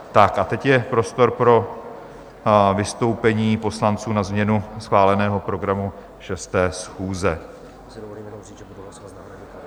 Tak a teď je prostor pro vystoupení poslanců na změnu schváleného programu 6. schůze.